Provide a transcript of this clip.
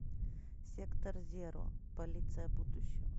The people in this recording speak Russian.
сектор зеро полиция будущего